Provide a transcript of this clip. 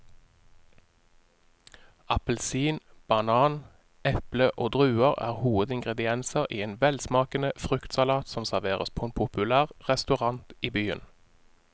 Appelsin, banan, eple og druer er hovedingredienser i en velsmakende fruktsalat som serveres på en populær restaurant i byen.